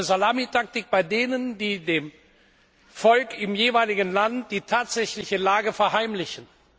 Es gibt eine Salamitaktik bei denen, die dem Volk im jeweiligen Land die tatsächliche Lage verheimlichen.